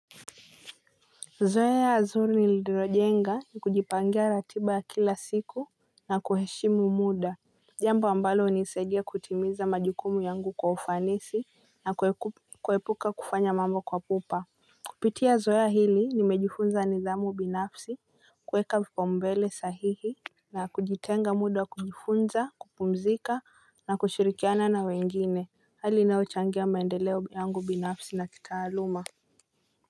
Zoea zuri nililojenga ni kujipangia ratiba ya kila siku na kuheshimu muda. Jambo ambalo hunisaidia kutimiza majukumu yangu kwa ufanisi na kuepuka kufanya mambo kwa pupa. Kupitia zoea hili nimejifunza nidhamu binafsi kueka vipaombele sahihi. Na kujitenga muda wa kujifunza kupumzika na kushirikiana na wengine hali inayochangia maendeleo yangu binafsi na kitaaluma.